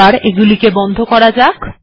এটিকেও বন্ধ করা যাক